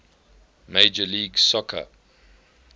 major league soccer